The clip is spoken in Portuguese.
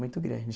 Muito grande.